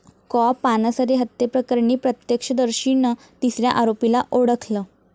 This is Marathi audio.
कॉ. पानसरे हत्येप्रकरणी प्रत्यक्षदर्शीनं तिसऱ्या आरोपीला ओळखलं